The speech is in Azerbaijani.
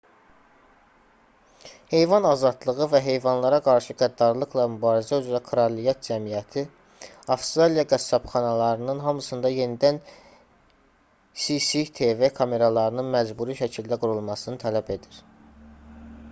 heyvan azadlığı və heyvanlara qarşı qəddarlıqla mübarizə üzrə kraliyət cəmiyyəti rspca avstraliya qəssabxanalarının hamısında yenidən cctv kameralarının məcburi şəkildə qurulmasını tələb edir